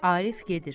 Arif gedir.